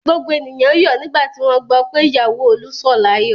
Gbogbo ènìyàn yọ̀ nígbà tí wọ́n gbọ́ pé ìyàwó Olú sọ̀ láyọ̀.